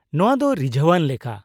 ᱼᱱᱚᱶᱟ ᱫᱚ ᱨᱤᱡᱷᱟᱹᱣᱟᱱ ᱞᱮᱠᱟ ᱾